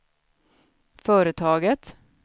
företaget